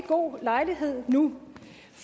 god lejlighed nu